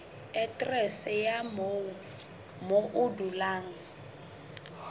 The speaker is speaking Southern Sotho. aterese ya moo o dulang